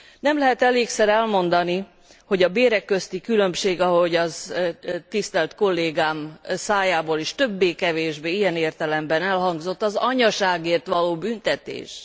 Nem lehet elégszer elmondani, hogy a bérek közti különbség, ahogy az tisztelt kollégám szájából is többé kevésbé ilyen értelemben elhangzott, az anyaságért való büntetés.